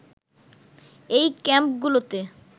এই ক্যাম্পগুলোতে